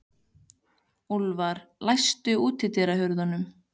Úlfar, læstu útidyrunum.